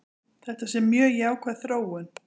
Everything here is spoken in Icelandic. Þetta sé mjög jákvæð þróun.